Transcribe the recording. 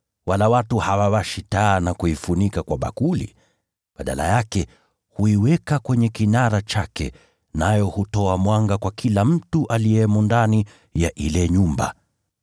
Wala watu hawawashi taa na kuifunika kwa bakuli. Badala yake, huiweka kwenye kinara chake, nayo hutoa mwanga kwa kila mtu aliyemo ndani ya ile nyumba.